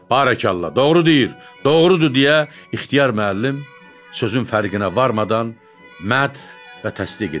Barakallah doğru deyir, doğrudur deyə ixtiyar müəllim sözün fərqinə varmadan mətn və təsdiq edirdi.